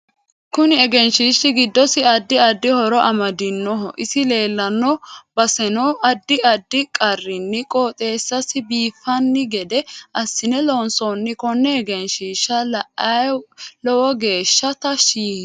KUni egenshiishi giddosi adddi addi horo amadinoho isi leelanno basenonaddi addi qarinni qooxeesasi biifanno gede assine loonsooni konne egenshiisha la'ayanni lowo geesha tashi yiinoe